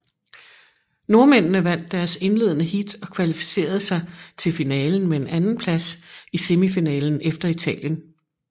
Nordmændene vandt deres indledende heat og kvalificerede sig til finalen med en andenplads i semifinalen efter Italien